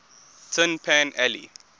tin pan alley